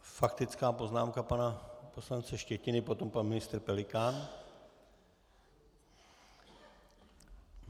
Faktická poznámka pana poslance Štětiny, potom pan ministr Pelikán.